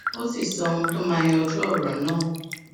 ó sì sọ ohun tó máa yanjú òrò náà